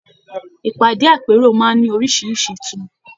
Ìpàdé àpérò máa n ní orisirisi ìtùmọ̀.